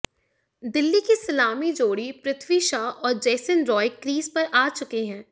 दिल्ली की सलामी जोड़ी पृथ्वी शॉ और जेसन रॉय क्रीज पर आ चुके हैं